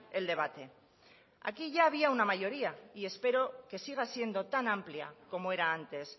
el debate aquí ya había una mayoría y espero que siga siendo tan amplia como era antes